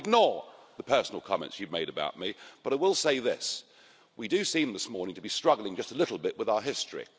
I will ignore the personal comments you made about me, but I will say this we do seem this morning to be struggling just a little bit with our history.